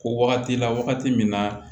Ko wagati la wagati min na